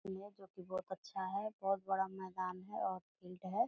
ये जो की बहुत अच्छा है बहुत बड़ा मकान है और फील्ड है।